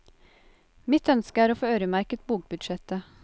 Mitt ønske er å få øremerket bokbudsjettet.